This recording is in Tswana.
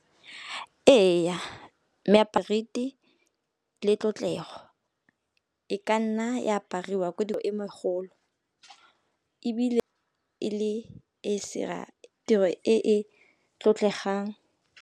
Eya, le tlotlego, e ka nna e apariwa ko e megolo ebile e le e se dira tiro e e tlotlegang.